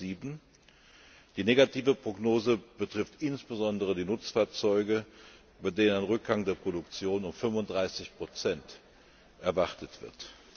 2007. Die negative Prognose betrifft insbesondere die Nutzfahrzeuge, bei denen ein Rückgang der Produktion um 35 erwartet wird.